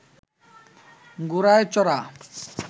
ঘোড়ায় চড়া